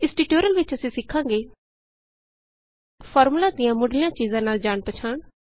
ਇਸ ਟਿਯੂਟੋਰਿਅਲ ਵਿਚ ਅਸੀਂ ਸਿਖਾਂਗੇ ਫਾਰਮੂਲਾ ਦੀਆਂ ਮੁੱਢਲੀਆਂ ਚੀਜਾਂ ਨਾਲ ਜਾਣ ਪਛਾਣ